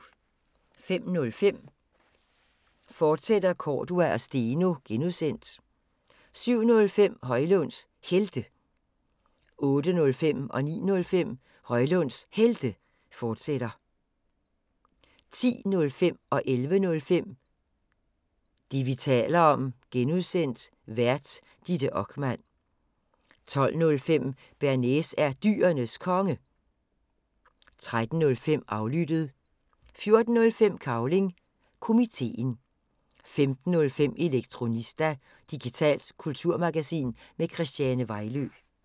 05:05: Cordua & Steno, fortsat (G) 07:05: Højlunds Helte 08:05: Højlunds Helte, fortsat 09:05: Højlunds Helte, fortsat 10:05: Det, vi taler om (G) Vært: Ditte Okman 11:05: Det, vi taler om (G) Vært: Ditte Okman 12:05: Bearnaise er Dyrenes Konge 13:05: Aflyttet 14:05: Cavling Komiteen 15:05: Elektronista – digitalt kulturmagasin med Christiane Vejlø